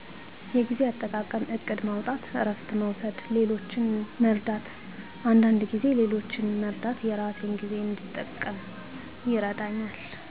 የጊዜ አጠቃቀም እቅድ ማውጣት እረፍት መውሰድ ሌሎችን መርዳት አንዳንድ ጊዜ ሌሎችን መርዳት የራሴን ጊዜ እንድጠቀም ይረዳኛል።